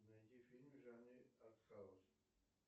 найди фильмы в жанре арт хаус